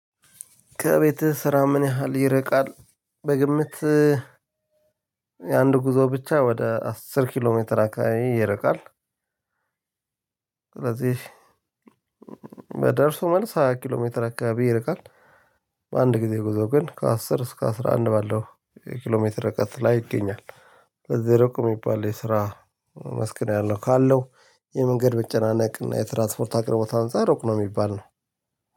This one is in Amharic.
ከቤትህ ስራ ምን ያህል ይርቃል? በግምት የአንድ ጉዞ ብቻ ወደ አስር ኪሎ ሜትር አካባቢ ይርቃል። ስለዚህ በደርሶ መልስ ሃያ ኪሎ ሜትር አካባቢ ይርቃል። በአንድ ጊዜ ጉዞ ግን ከአስር እስከ አስራ አንድ ባለው ኪሎ ሜትር ርቀት ላይ ይገኛል። በዚህ ሩቁ የሚባል የስራ መስክ ነው ያለው ካለው የመንገድ መጨናነቅ እና የትራንስፖርት አቅርቦት አንፃር ሩቅ ነው የሚባል ነው።